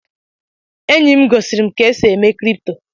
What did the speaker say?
Enyi m gosiri m ka esi eme kripto.